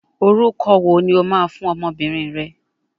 Orúkọ wo ni o máa fún ọmọbìnrin rẹ?